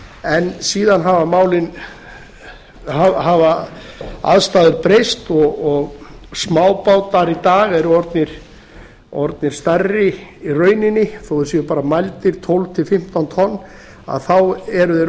en síðan hafa aðstæður breyst og smábátar í dag eru orðnir stærri í rauninni þó þeir séu bara mældir tólf til fimmtán tonn þá eru þeir